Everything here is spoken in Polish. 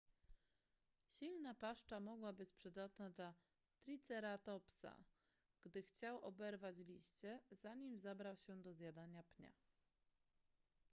silna paszcza mogła być przydatna dla triceratopsa gdy chciał oberwać liście zanim zabrał się do zjadania pnia